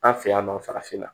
An fɛ yan nɔ farafinna